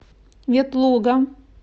ветлуга